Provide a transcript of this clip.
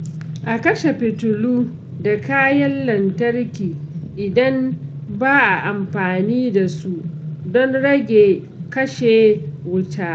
A kashe fitilu da kayan lantarki idan ba a amfani da su don rage kashe wuta.